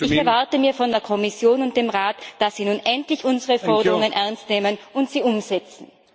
Ich erwarte mir von der Kommission und dem Rat, dass sie nun endlich unsere Forderungen ernst nehmen und sie umsetzen.